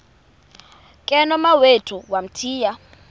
ke nomawethu wamthiya